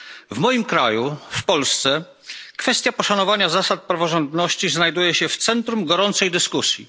W moim kraju, w Polsce, kwestia poszanowania zasad praworządności znajduje się w centrum gorącej dyskusji.